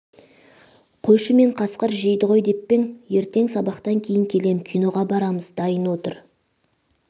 қойшы мен қасқыр жейді ғой деп пе ең ертең сабақтан кейін келем киноға барамыз дайын отыр